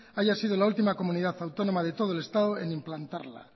haya sido la última comunidad autónoma de todo el estado en implantarla